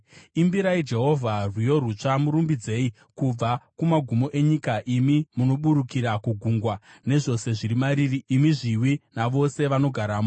Imbirai Jehovha rwiyo rutsva, murumbidzei kubva kumagumo enyika, imi munoburukira kugungwa, nezvose zviri mariri, imi zviwi, navose vanogaramo.